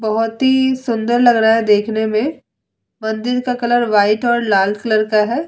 बोहोत ही सुंदर लग रहा है देखने मे मंदिर का कलर वाइट और लाल कलर का है ।